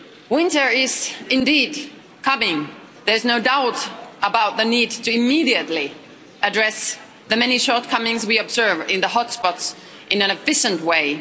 Winter is indeed coming. There's no doubt about the need to immediately address the many shortcomings we observe in the hotspots in an efficient way.